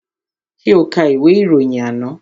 Ṣé o ka ìwé ìròyìn àná?